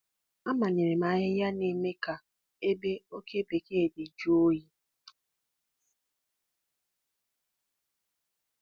Amanyere m ahịhịa na-eme ka ebe oke bekee dị jụọ oyi.